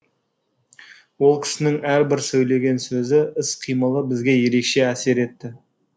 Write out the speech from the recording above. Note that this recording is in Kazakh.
ол кісінің әрбір сөйлеген сөзі іс қимылы бізге ерекше әсер етті